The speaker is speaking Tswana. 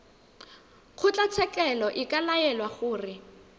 kgotlatshekelo e ka laela gore